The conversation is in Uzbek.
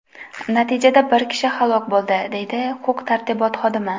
Natijada bir kishi halok bo‘ldi”, deydi huquq-tartibot xodimi.